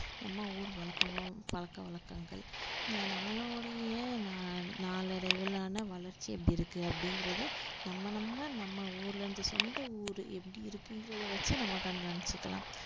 நம்ம ஊர் வழ~ பழக்க வழக்கங்கள் நம்மளுடைய நா~ நாளடைவிலான வளர்ச்சி எப்படி இருக்கு அப்படிங்கறது நம்ம நம்ம நம்ம ஊர்ல இருந்து சொந்த ஊரு எப்படி இருக்குங்கிறத வச்சு நம்ம கண்காணிச்சிக்கலாம்